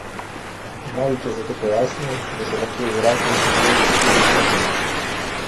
Vnovič je zato pojasnil, da so lahko v zraku še največ štiri minute.